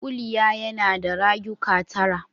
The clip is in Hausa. Kuliya yana da rayuka tara.